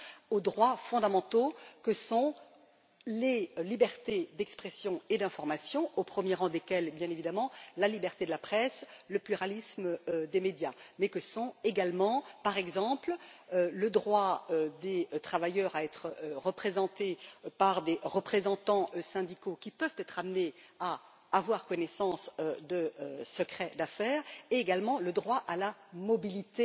ni aux droits fondamentaux que sont les libertés d'expression et d'information, au premier rang desquels figurent, bien évidemment, la liberté de la presse et le pluralisme des médias, et que sont, également, par exemple, le droit des travailleurs à être représentés par des représentants syndicaux, qui peuvent être amenés à avoir connaissance de secrets d'affaires, ou encore le droit à la mobilité